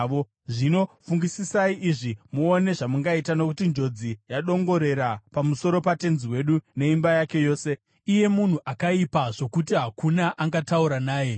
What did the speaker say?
Zvino fungisisai izvi muone zvamungaita, nokuti njodzi yadongorera pamusoro patenzi wedu neimba yake yose. Iye munhu akaipa zvokuti hakuna angataura naye.”